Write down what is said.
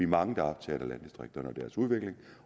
mange der er optaget af landdistrikterne og deres udvikling